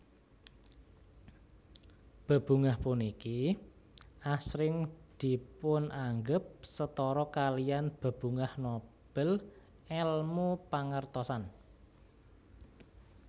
Bebungah puniki asring dipunanggep setara kaliyan Bebungah Nobel èlmu pangertosan